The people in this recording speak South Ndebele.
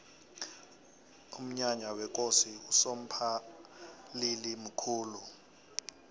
umnyanya wekosi usomphalili mkhulu